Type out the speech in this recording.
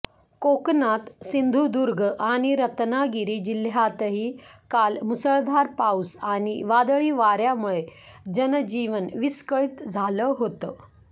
कोकणात सिंधुदुर्ग आणि रत्नागिरी जिल्ह्यातही काल मुसळधार पाऊस आणि वादळी वाऱ्यामुळे जनजीवन विस्कळीत झालं होतं